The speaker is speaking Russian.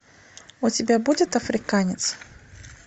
у тебя будет африканец